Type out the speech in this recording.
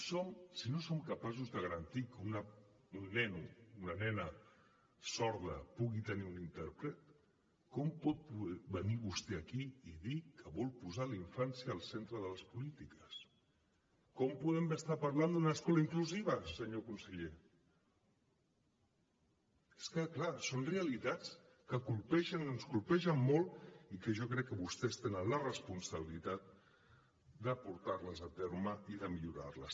si no som capaços de garantir que un nen una nena sorda pugui tenir un intèrpret com pot venir vostè aquí i dir que vol posar la infància al centre de les polítiques com podem estar parlant d’una escola inclusiva senyor conseller és que clar són realitats que ens colpegen molt i que jo crec que vostès tenen la responsabilitat de portar les a terme i de millorar les